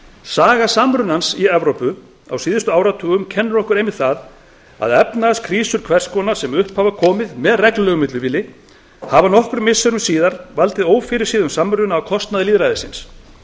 saga samrunans í evrópu á síðustu áratugum kennir okkur einmitt það að efnahagskrísur hvers konar sem upp hafa komið með reglulegu millibili hafa nokkrum missirum síðar valdið ófyrirséðum samruna á kostnað lýðræðisins